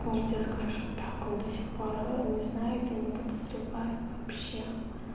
я тебе скажу так он до сих пор не знает и не подозревает вообще